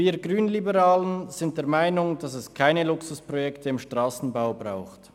Wir Grünliberalen sind der Meinung, dass es keine Luxusprojekte im Strassenbau braucht.